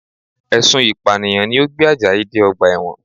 Ẹ̀sùn Ìpànìyàn ni ó gbé Àjàyí dé ọgbà ẹ̀wọ̀n